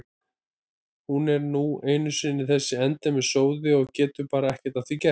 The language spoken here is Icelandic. Hún er nú einu sinni þessi endemis sóði og getur bara ekki að því gert.